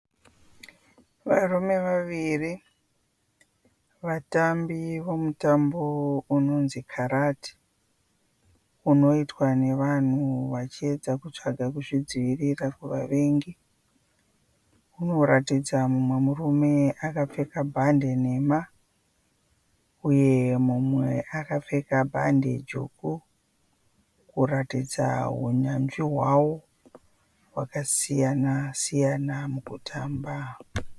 Varume vaviri vatambi vomutambo unonzi karati unoitwa nevanhu vachiedza kutsvaga kuzvidzivirira kuvavengi. Unoratidza mumwe murume akapfeka bhande nhema uye mumwe akapfeka bhande dzvuku kuratidza unyanzvi hwavo hwakasiyana siyana mukutamba.